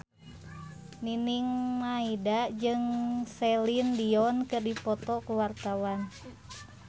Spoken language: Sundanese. Nining Meida jeung Celine Dion keur dipoto ku wartawan